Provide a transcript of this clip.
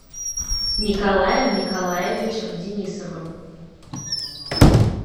николаем николаевичем денисовым